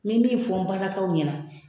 N me min fɔ n balakaw ɲɛna